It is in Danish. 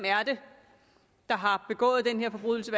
der har begået den her forbrydelse